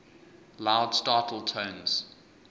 loud startle tones